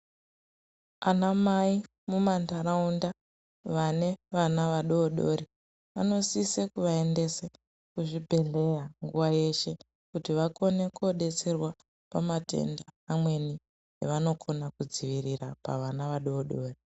Ana mai mumandaraunda vane vana vadodori vanosisa kuvaendese kuzvibhehleya nguva yeshe kuti vakone ndodetserwa pamatenda amweni avanokona kudzivirira pavana vadodori